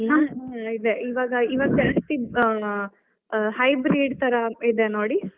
ಹ್ಮ್, ಇದೆ ಇವಾಗ್ ಇವಾಗ್ ಎರಡ್ತಿ~ ಆ hybrid ತರಾ ಇದೆ ನೋಡಿ.